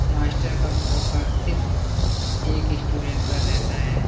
Master का focus सिर्फ एक स्टूडेंट पर रहता है।